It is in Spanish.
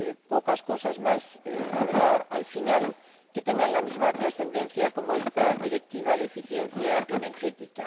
Pocas cosas más habrá, al final, que tengan la misma trascendencia que esta Directiva de eficiencia energética.